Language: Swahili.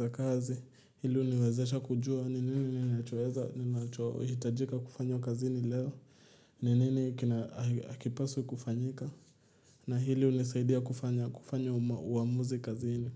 za kazi. Hili uniwezesha kujua ni nini nini twaeza ni ninachohitajika kufanya kazini leo. Ni nini kina akipasu kufanyika. Na hili hunisaidia kufanya uamuzi kazini.